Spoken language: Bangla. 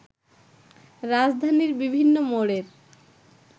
রাজধানীর বিভিন্ন মোড়ের